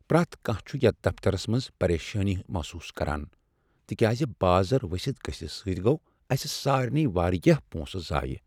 پریتھ کانہہ چھُ یتھ دفترس منٛز پریشانی محسوس کران تکیاز بازر ؤستھ گژھنہٕ سۭتۍ گوٚو اسہ سارنے واریاہ پونسہٕ ضایع۔